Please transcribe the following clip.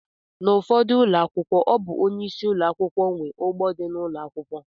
N’ufodu ụlọakwụkwọ ọ bụ onyeisi ụlọakwụkwọ nwe ugbo di n’ụlọ ụlọakwụkwọ